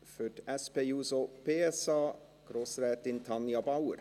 Für die SP-JUSO-PSA, Grossrätin Tanja Bauer.